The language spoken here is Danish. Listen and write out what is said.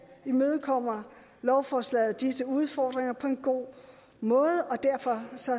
imødekommer lovforslaget disse udfordringer på en god måde og derfor